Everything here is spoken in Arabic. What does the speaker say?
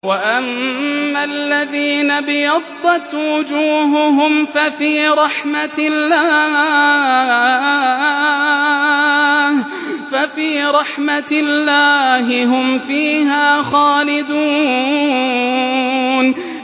وَأَمَّا الَّذِينَ ابْيَضَّتْ وُجُوهُهُمْ فَفِي رَحْمَةِ اللَّهِ هُمْ فِيهَا خَالِدُونَ